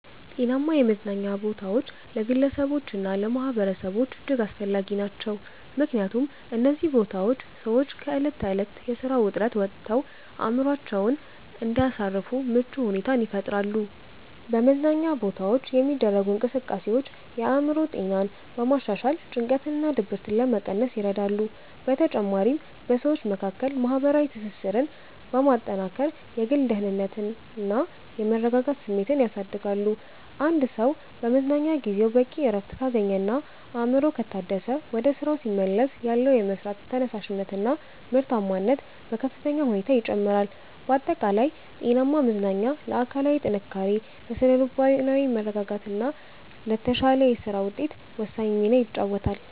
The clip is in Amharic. ጤናማ የመዝናኛ ቦታዎች ለግለሰቦችና ለማኅበረሰቦች እጅግ አስፈላጊ ናቸው። ምክንያቱም እነዚህ ቦታዎች ሰዎች ከዕለት ተዕለት የሥራ ውጥረት ወጥተው አእምሮአቸውን እንዲያሳርፉ ምቹ ሁኔታን ይፈጥራሉ። በመዝናኛ ቦታዎች የሚደረጉ እንቅስቃሴዎች የአእምሮ ጤናን በማሻሻል ጭንቀትንና ድብርትን ለመቀነስ ይረዳሉ። በተጨማሪም በሰዎች መካከል ማህበራዊ ትስስርን በማጠናከር የግል ደህንነትና የመረጋጋት ስሜትን ያሳድጋሉ። አንድ ሰው በመዝናኛ ጊዜው በቂ እረፍት ካገኘና አእምሮው ከታደሰ፣ ወደ ሥራው ሲመለስ ያለው የመሥራት ተነሳሽነትና ምርታማነት በከፍተኛ ሁኔታ ይጨምራል። ባጠቃላይ ጤናማ መዝናኛ ለአካላዊ ጥንካሬ፣ ለሥነ-ልቦናዊ መረጋጋትና ለተሻለ የሥራ ውጤት ወሳኝ ሚና ይጫወታል።